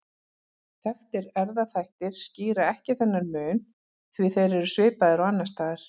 Þekktir erfðaþættir skýra ekki þennan mun því þeir eru svipaðir og annars staðar.